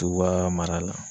Tuba mara la